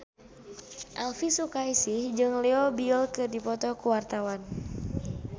Elvi Sukaesih jeung Leo Bill keur dipoto ku wartawan